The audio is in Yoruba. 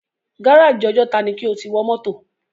Gáràjì Ọjọ́ta ni kí o ti wọ mọ́tò!